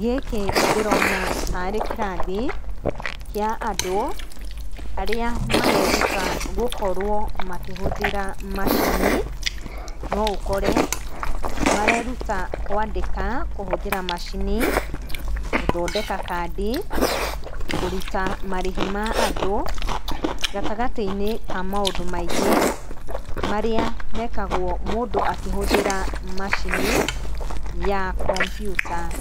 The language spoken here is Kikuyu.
Gĩkĩ ndĩrona ta arĩ kĩrathi kĩa andũ arĩa mareruta gũkorwo makĩhũthĩra macini. Noũkore mareruta kwandĩka , kũhũthĩra macini, gũthondeka kandi, kũruta marĩhi ma andũ, gatagatĩinĩ ka maũndũ maingĩ marĩa mekagũo mũndũ akĩhũthĩra macini ya computer.